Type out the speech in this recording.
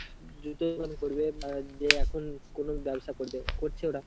জুতোর দোকান করবে, বা যে এখন কোনো ব্যবসা করবে করছে ওরা.